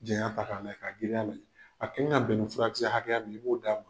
janya ta k'a giriya lajƐ a kan ka bƐn ni furakisɛ hakɛya min ye i b'o da.